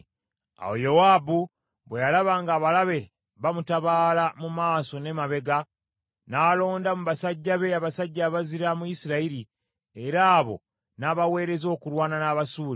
Awo Yowaabu bwe yalaba ng’abalabe bamutabaala mu maaso n’emabega, n’alonda mu basajja be, abasajja abazira mu Isirayiri, era abo n’abaweereza okulwana n’Abasuuli.